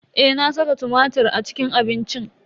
Eh, na saka tumatir a cikin abincin.